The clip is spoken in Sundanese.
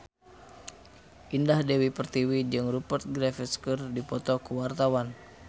Indah Dewi Pertiwi jeung Rupert Graves keur dipoto ku wartawan